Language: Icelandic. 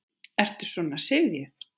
Ertu svona syfjuð?